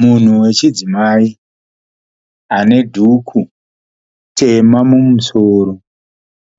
Munhu wechidzimai ane dhuku tema mumusoro